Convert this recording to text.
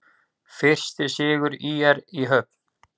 Fyrsti sigur ÍR í höfn